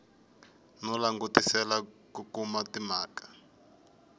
no langutisela ku kuma timhaka